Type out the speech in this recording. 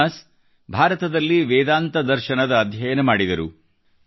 Jonas ಭಾರತದಲ್ಲಿ ವೇದಾಂತ ದರ್ಶನದ ಅಧ್ಯಯನ ಮಾಡಿದರು